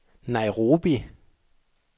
Nairobi